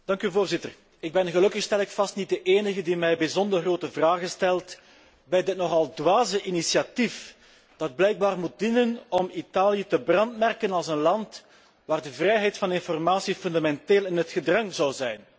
Voorzitter, ik ben gelukkig stel ik vast niet de enige die zich bijzonder grote vragen stelt bij dit nogal dwaze initiatief, dat blijkbaar ertoe moet dienen om Italië te brandmerken als een land waar de vrijheid van informatie fundamenteel in het gedrang zou zijn.